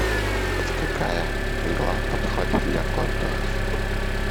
какая игла подходит для контуров